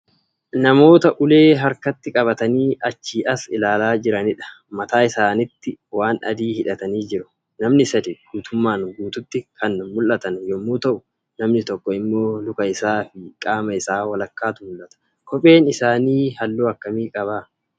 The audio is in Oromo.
Namoota ulee harkatti qabatanii achii as ilaalaa jiranidha. Mataa isaaniitti waan adii hidhatanii jiru. Namni sadi guutummaan guutuutti kan Mul'atan yommuu ta'u, namni tokko immoo luka isaa fi qaama isaa walakkaatu mul'ata. Kopheen isaanii halluu akkamii qaba?